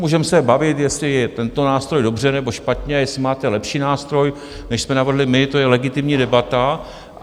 Můžeme se bavit, jestli je tento nástroj dobře nebo špatně, jestli máte lepší nástroj, než jsme navrhli my, to je legitimní debata.